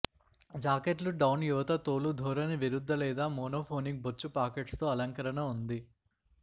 జాకెట్లు డౌన్ యువత తోలు ధోరణి విరుద్ధ లేదా మోనోఫోనిక్ బొచ్చు పాకెట్స్ తో అలంకరణ ఉంది